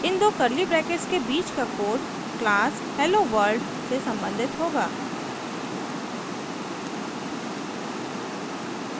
इन दो curly brackets के बीच का code class helloworld से संबंधित होगा